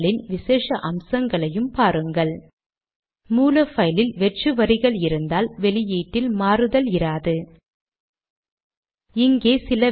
இதன் விளைவை அவுட்புட் பைலின் மேல் வலது புற மூலையில் பார்க்க இயலும்